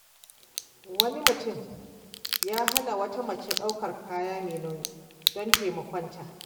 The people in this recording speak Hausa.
Wani mutum ya hana wata mace daukar kaya mai nauyi don taimakonta.